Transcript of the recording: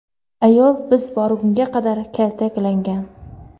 Ayol biz borgunga qadar kaltaklangan.